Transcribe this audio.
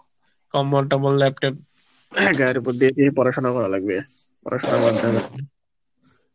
কম্বল টম্বল লেপ টেপ গায়ের উপর দিয়ে দিয়েই পড়াশোনা করা লাগবে পড়াশোনা বাদ দেয়া যাবে না